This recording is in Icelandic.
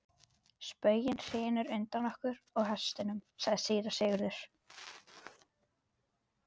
Spöngin hrynur undan okkur og hestunum, sagði síra Sigurður.